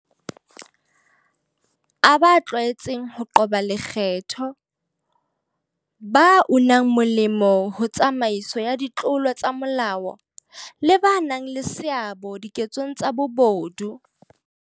A ba tlwaetseng ho qoba lekgetho, ba unang molemo ho tsamaiso ya ditlolo tsa molao, le ba nang le seabo diketsong tsa bobodu.